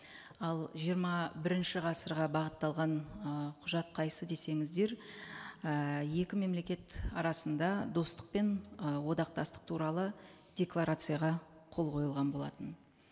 ал жиырма бірінші ғасырға бағытталған ы құжат қайсысы десеңіздер і екі мемлекет арасында достық пен ы одақтастық туралы декларацияға қол қойылған болатын